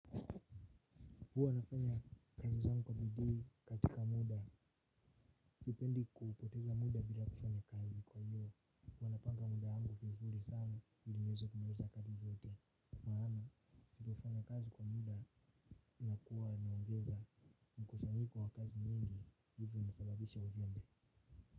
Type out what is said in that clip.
Huwa ninafanya kazi zangu kwa bidii katika muda. Sipendi kupoteza muda bila kufanya kazi kwa hivyo huwa napanga muda wangu vizuri sana ili niweze kumaliza kazi zote kwa maana, nisipofanya kazi kwa muda inakuwa inaongeza mkusanyiko wa kazi nyingi hivyo inasababisha uzembe.